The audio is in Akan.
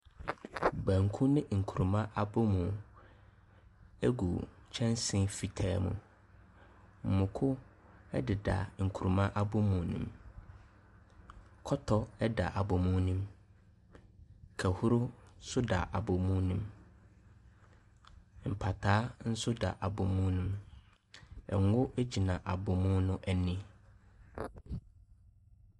Banku ne nkuruma abomu gu kyɛnse fitaa mu. Mako ɛdeda nkuruma abomu no mu. Kɔtɔ ɛda abomu no mu. Kahhuro nso da abomu no mu. Mpataa nso da abomu no mu. Ngu gyina abomu n'ani.